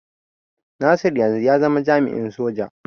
Nasir yanzu ya zama jami'in soji.